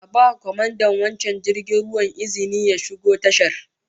A ba kwamandan wancan jirgin ruwan izinin ya shigo tashar